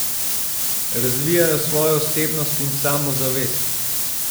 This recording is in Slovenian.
Razvijajo svojo osebnost in samozavest.